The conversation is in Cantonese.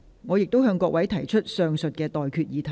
我現在向各位提出上述待決議題。